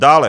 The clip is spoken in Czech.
Dále.